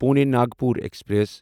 Pune Nagpur express